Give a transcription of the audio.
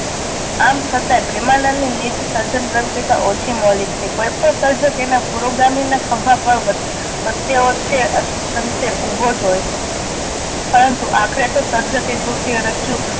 આમ છતાંય પ્રેમાનંદની નિજ સર્જન પ્રવુતતા ઓછી મૌલિક છે. કોઈ પણ સર્જક તેના પૂર્વ ગામી ના ખંભા પર વ વચ્ચે વચ્ચે ઊભો જ હોય છે પરંતુ આખરે તો સર્જક એ કૃતિ ઓ રજૂ